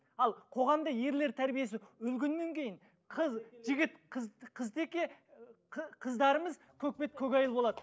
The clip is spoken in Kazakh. ал қоғамда ерлер тәрбиесі өлгеннен кейін қыз жігіт қыз қызтеке ы қыздарымыз көкбет көкайыл болады